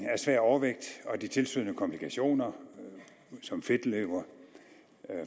af svær overvægt og de tilstødende komplikationer som fedtlever